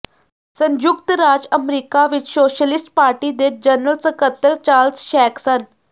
ਸੰਯੁਕਤ ਰਾਜ ਅਮਰੀਕਾ ਵਿਚ ਸੋਸ਼ਲਿਸਟ ਪਾਰਟੀ ਦੇ ਜਨਰਲ ਸਕੱਤਰ ਚਾਰਲਸ ਸ਼ੈਂਕ ਸਨ